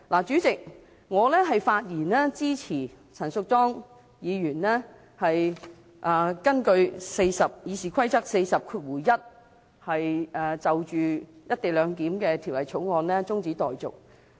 主席，我發言支持陳淑莊議員根據《議事規則》第401條，就《條例草案》提出中止待續議案。